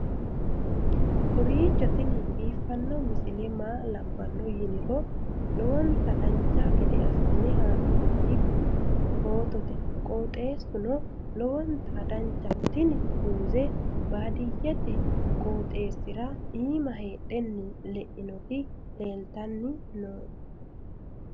kowiicho tini biiffanno misile maa labbanno yiniro lowonta dancha gede assine haa'noonni foototi qoxeessuno lowonta danachaho. tini muze baadiyyete qooxeessira iima heedhe leinoti leeltanni no